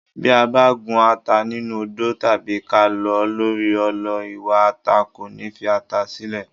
Bí a bá gún ata nínú odó tàbí ká lọ̀ ọ́ lórí ọlọ ìwà ata kò ní fi ata sílẹ̀.